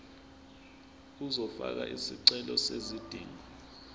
uzofaka isicelo sezidingo